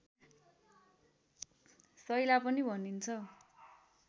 सैला पनि भनिन्छ